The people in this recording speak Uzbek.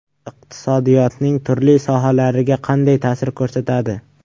Iqtisodiyotning turli sohalariga qanday ta’sir ko‘rsatadi?